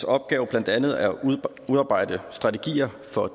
opgave blandt andet at udarbejde strategier for